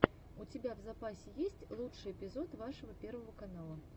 у тебя в запасе есть лучший эпизод вашего первого канала